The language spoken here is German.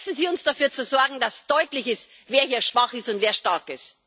Helfen Sie uns, dafür zu sorgen, dass deutlich wird, wer hier schwach ist und wer stark ist.